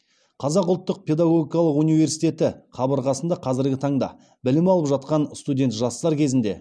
қазақ ұлттық педагогикалық университеті қабырғасында қазіргі таңда білім алып жатқан студент жастар кезінде